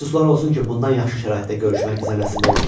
Əfsuslar olsun ki, bundan yaxşı şəraitdə görüşmək bizə nəsib olmadı.